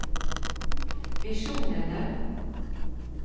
visjonene